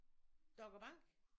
doggerbanke